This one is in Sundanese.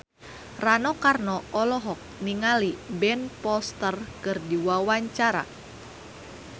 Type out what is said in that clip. Rano Karno olohok ningali Ben Foster keur diwawancara